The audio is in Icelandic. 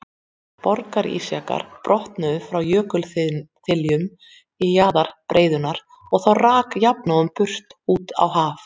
Borgarísjakar brotnuðu frá jökulþiljum í jaðri breiðunnar og þá rak jafnóðum burt út á haf.